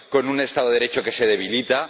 con un Estado de Derecho que se debilita